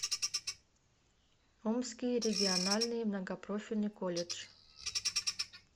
омский региональный многопрофильный колледж